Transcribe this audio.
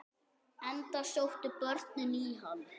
Enda sóttu börnin í hann.